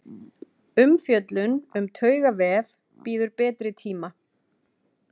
Umfjöllun um taugavef bíður betri tíma.